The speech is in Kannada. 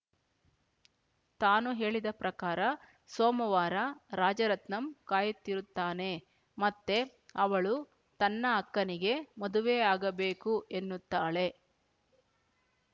ತಾನು ಹೇಳಿದ ಪ್ರಕಾರ ಸೋಮವಾರ ರಾಜರತ್ನಂ ಕಾಯುತ್ತಿರುತ್ತಾನೆ ಮತ್ತೆ ಅವಳು ತನ್ನ ಅಕ್ಕನಿಗೆ ಮದುವೆ ಆಗಬೇಕು ಎನ್ನುತ್ತಾಳೆ